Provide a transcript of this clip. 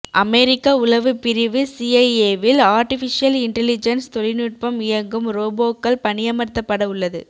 அமெரிக்க உளவு பிரிவு சிஐஏவில் ஆர்டிபிஷியல் இன்டலிஜென்ஸ் தொழில்நுட்பம் இயங்கும் ரோபோக்கள் பணியமர்த்தப்பட உள்ளது